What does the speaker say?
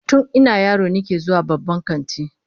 Tun ina yaro nake zuwa babban kanti